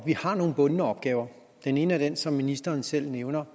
er nogle bundne opgaver den ene af dem som ministeren selv nævner